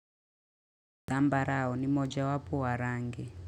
Zambarao ni mojawapo wa rangi.